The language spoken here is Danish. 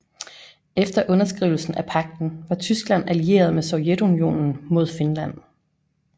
Efter underskrivelsen af pagten var Tyskland allieret med Sovjetunionen mod Finland